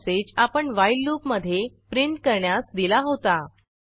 हा मेसेज आपण व्हाईल लूपमधे प्रिंट करण्यास दिला होता